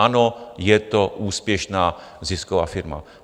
Ano, je to úspěšná, zisková firma.